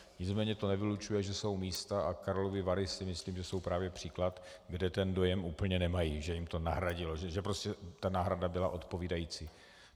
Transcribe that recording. Nicméně to nevylučuje, že jsou místa, a Karlovy Vary si myslím, že jsou právě příklad, kde ten dojem úplně nemají, že jim to nahradilo, že prostě ta náhrada byla odpovídající.